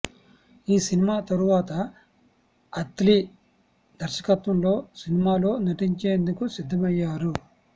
ఈ సినిమా తరువాత అత్లీ దర్శకత్వం లో సినిమా లో నటించేందుకు సిద్ధమయ్యారు